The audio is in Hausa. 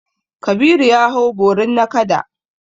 Kabiru ya hau borin nakada.